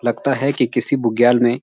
लगता है कि किसी बुग्याल में --